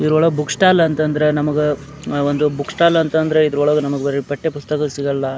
ಇದರೊಳಗೆ book stall ಅಂತಂದ್ರೆ ನಮಗೆ ಒಂದು ಬುಕ್ ಸ್ಟಾಲ್ ಅಂತಂದ್ರೆ ಇದರೊಳಗೆ ನಮಗೆ ಬರಿ ಪಠ್ಯ ಪುಸ್ತಕ ಸಿಗಲ್ಲ.